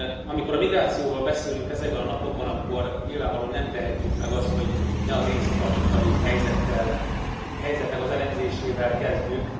Amikor a migrációról beszélünk ezekben a napokban, akkor nyilvánvalóan nem tehetjük meg azt, hogy ne az észak afrikai helyzetnek az elemzésével kezdjük.